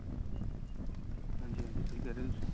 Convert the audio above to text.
ਹਾਂਜੀ ਹਾਂਜੀ ਸਹੀ ਕਹਿ ਰਹੇ ਹੋ ਤੁਸੀਂ